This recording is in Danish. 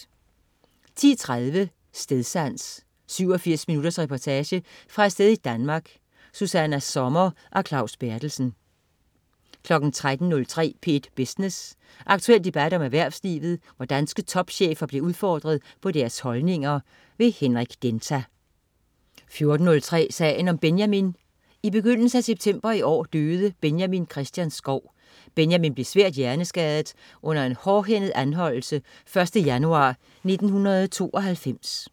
10.03 Stedsans. 87 minutters reportage fra et sted i Danmark. Susanna Sommer og Claus Berthelsen 13.03 P1 Business. Aktuel debat om erhvervslivet, hvor danske topchefer bliver udfordret på deres holdninger. Henrik Denta 14.03 Sagen om Benjamin. I begyndelsen af september i år døde Benjamin Christian Schou. Benjamin blev svært hjerneskadet under en hårdhændet anholdelse 1. januar 1992